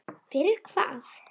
Fyrir hvað?